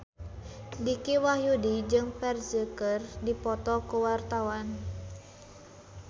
Dicky Wahyudi jeung Ferdge keur dipoto ku wartawan